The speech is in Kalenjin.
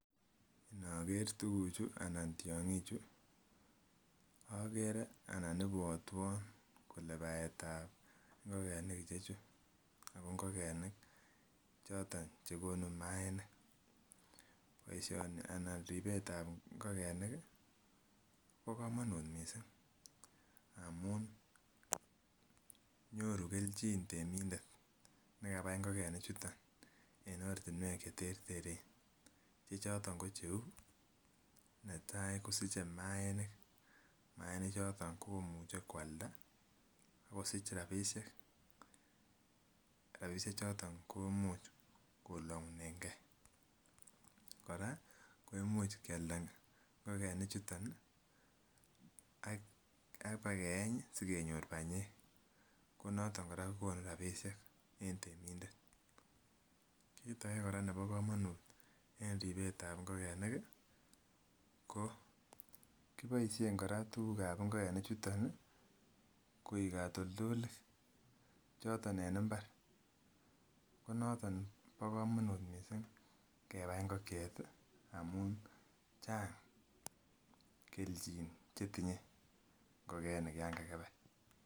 Inoker tuguk chu ana tiong'ik chu okere anan ibwotwon kole batetab ngokenik ichechu ako ngokenik choton chekonu maaniik. Boisioni ana ribetab ngokenik ih kobo komonut missing amun nyoru kelchin temindet nekabai ngokenik chuton en ortinwek cheterteren choton ko cheu netaa kosiche maaniik, maaniik choton komuche koalda akosich rapisiek rapisiek choton komuch kolong'unen gee kora ko imuch kialda ngokenik chuton ih ak bakeeny ih sikenyor banyek konoton kora ko konu rapisiek en temindet. Kit age kora nebo komonut en ribet ab ngokenik ih ko kiboisien kora tuguk ab ngokenik chuton ih koik katoltolik choton en mbar konoton bo komonut missing kebai ngokiet ih amun chang kelchin chetinye ngokenik yan kakibai